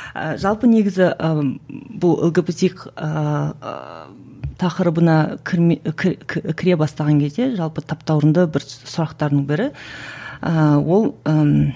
і жалпы негізі ыыы бұл лгбтик ыыы тақырыбына кірме кіре бастаған кезде жалпы таптауырынды бір сұрақтардың бірі ол ыыы